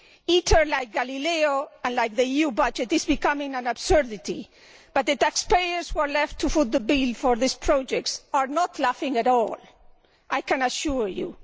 ITER, like Galileo and the EU budget, is becoming an absurdity, but the taxpayers who are left to foot the bill for these projects are not laughing at all, I can assure you.